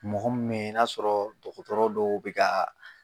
Mɔgɔ m me ye n'a sɔrɔ dɔgɔtɔrɔ dɔw be k'a